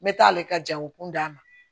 N bɛ taa ale ka jago kun d'a ma